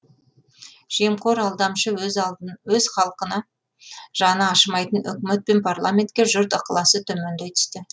жемқор алдамшы өз алды өз халқына жаны ашымайтын үкімет пен парламентке жұрт ықыласы төмендей түсті